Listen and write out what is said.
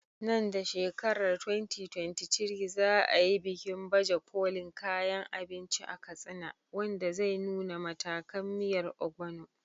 Nan da shekarar 2023, za a yi bikin baje kolin kayan abinci a Katsina, wanda zai nuna matakan miyar Ogbono.